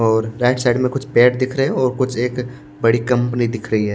और right side में कुछ पेड़ दिख रहे हैं और कुछ एक अ बड़ी कंपनी दिख रही है।